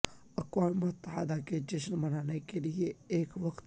اقوام متحدہ کے جشن منانے کے لئے ایک وقت